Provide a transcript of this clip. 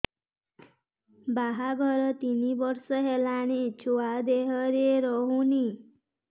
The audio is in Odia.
ବାହାଘର ତିନି ବର୍ଷ ହେଲାଣି ଛୁଆ ଦେହରେ ରହୁନି